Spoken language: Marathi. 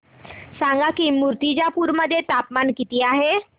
सांगा की मुर्तिजापूर मध्ये तापमान किती आहे